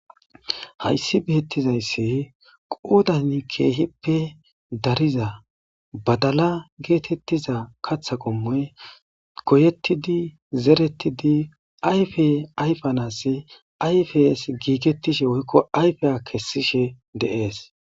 Hayssi bettizayssi qoddan kehippe daariza baddala gettetiza kaththa qommoy goyettidi zerretidi ayffe ayfanas gigetishshe woykko ayfe kesishshe de'es.